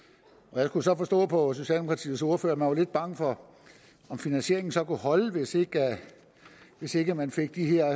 jeg kunne så forstå på socialdemokratiets ordfører at man var lidt bange for om finansieringen så kunne holde hvis ikke hvis ikke man fik de her